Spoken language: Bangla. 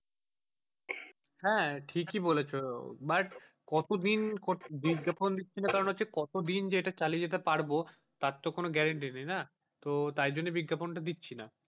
হ্যাঁ ঠিকই বলেছ but কত দিন বিজ্ঞাপন দিচ্ছি না কারণ হচ্ছে কতদিন যে এটা চালিয়ে যেতে পারবো তার তো কোনো grantee নেই না তাই জন্য বিজ্ঞাপন দিচ্ছি না।